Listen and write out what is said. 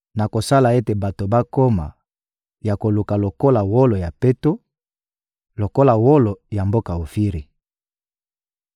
Nakosala ete bato bakoma ya koluka lokola wolo ya peto, lokola wolo ya mboka Ofiri.